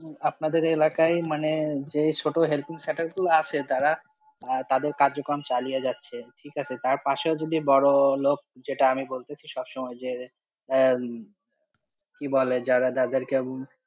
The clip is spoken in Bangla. আপনাদের এলাকায় মানে যে ছোটো helping center গুলো আছে. তারা তাদের কাজকর্ম চালিয়ে যাচ্ছে, ঠিক আছে, তার পাশে যদি বড়োলোক, যেটা আমি বলতে চাইছি যে সবসময় যে, হম কি বলে যারা, যাদের কে